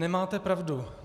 Nemáte pravdu.